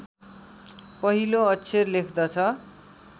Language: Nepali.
पहिलो अक्षर लेख्दछ